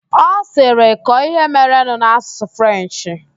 Ọ sịrị, kọọ ihe merenụ n'Asụsụ Frenchị!